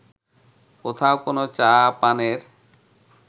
কোথাও কোনো চা পানের